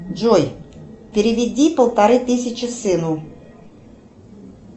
джой переведи полторы тысячи сыну